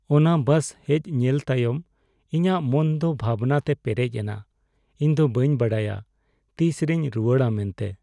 ᱚᱱᱟ ᱵᱟᱥ ᱦᱮᱡ ᱧᱮᱞ ᱛᱟᱭᱚᱢ, ᱤᱧᱟᱹᱜ ᱢᱚᱱ ᱫᱚ ᱵᱷᱟᱵᱽᱱᱟ ᱛᱮ ᱯᱮᱨᱮᱪ ᱮᱱᱟ ᱾ ᱤᱧ ᱫᱚ ᱵᱟᱹᱧ ᱵᱟᱰᱟᱭᱟ ᱛᱤᱥ ᱨᱮᱧ ᱨᱩᱣᱟᱹᱲᱼᱟ ᱢᱮᱱᱛᱮ ᱾